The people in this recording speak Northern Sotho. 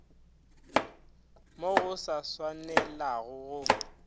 mo go sa swanelago go